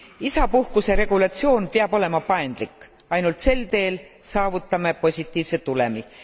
Isapuhkuse regulatsioon peab olema paindlik, ainult sel teel saavutame positiivse tulemi.